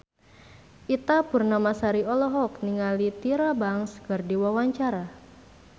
Ita Purnamasari olohok ningali Tyra Banks keur diwawancara